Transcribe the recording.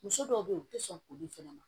Muso dɔw be yen u te sɔn k'olu fɛnɛ ma